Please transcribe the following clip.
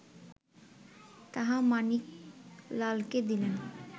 তাহা মাণিকলালকে দিলেন